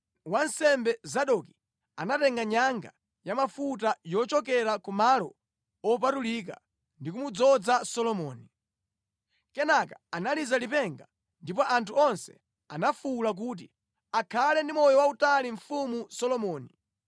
Wansembe Zadoki anatenga nyanga ya mafuta yochokera ku malo opatulika ndi kumudzoza Solomoni. Kenaka analiza lipenga ndipo anthu onse anafuwula kuti, “Akhale ndi moyo wautali Mfumu Solomoni!”